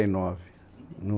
E nove, no